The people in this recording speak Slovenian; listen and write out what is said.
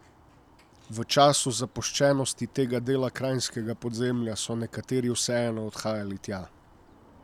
V času zapuščenosti tega dela kranjskega podzemlja so nekateri vseeno odhajali tja.